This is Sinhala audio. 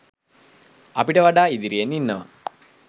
අපිට වඩා ඉදිරියෙන් ඉන්නවා.